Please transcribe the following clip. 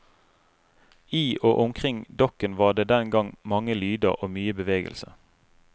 I og omkring dokken var det den gang mange lyder og mye bevegelse.